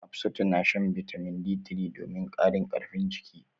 Hafsatu na shan bitamin D3 domin ƙarin karfin jiki.